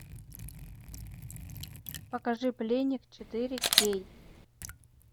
покажи пленник четыре кей